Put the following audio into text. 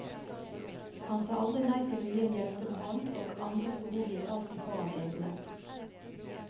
Han sa aldri nei til å gi en hjelpende hånd, og andres behov gikk alltid foran egne.